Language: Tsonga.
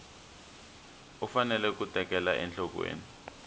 u fanele ku tekela enhlokweni